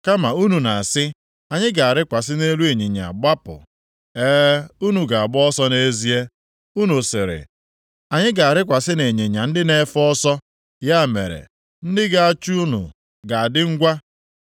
Kama unu na-asị, ‘Anyị ga-arịkwasị nʼelu ịnyịnya gbapụ.’ E, unu ga-agba ọsọ nʼezie. Unu sịrị, ‘Anyị ga-arịkwasị nʼịnyịnya ndị na-efe ọsọ.’ Ya mere, ndị ga-achụ unu ga-adị ngwa.